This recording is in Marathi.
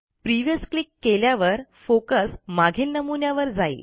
प्रिव्हियस क्लिक केल्यावर फोकस मागील नमुन्यावर जाईल